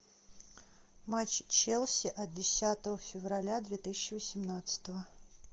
матч челси от десятого февраля две тысячи восемнадцатого